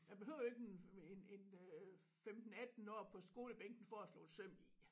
Man behøver ikke en en en øh 15 18 år på skolebænken for at slå et søm i